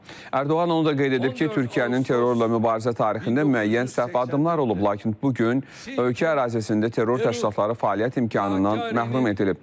Ərdoğan onu da qeyd edib ki, Türkiyənin terrorla mübarizə tarixində müəyyən səhv addımlar olub, lakin bu gün ölkə ərazisində terror təşkilatları fəaliyyət imkanından məhrum edilib.